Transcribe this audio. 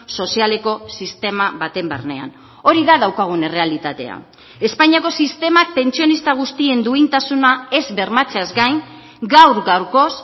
sozialeko sistema baten barnean hori da daukagun errealitatea espainiako sistemak pentsionista guztien duintasuna ez bermatzeaz gain gaur gaurkoz